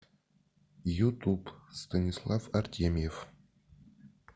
ютуб станислав артемьев